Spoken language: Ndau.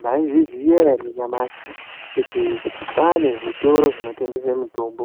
Mwaizviziya ere nyamashi kuti kwaane zvitoro zvinotengese mitombo.